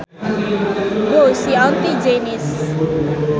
Go see auntie Janice